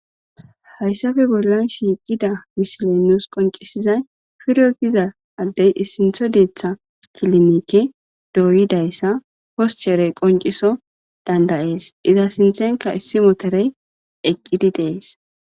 Hayssappe bolan shiiqida misiley nuusi qonccisizay Firo giza addey issinththo deththa kilinike doyidayssa poschcherey qoncciso danda'es. Iza sinththenkka issi motorey eqqidi dees.